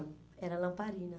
era lamparina.